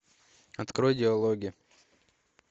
открой диалоги